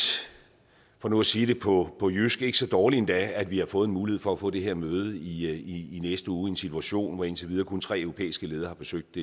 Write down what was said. for nu at sige det på på jysk ikke så dårligt endda at vi har fået en mulighed for at få det her møde i i næste uge i en situation hvor indtil videre kun tre europæiske ledere har besøgt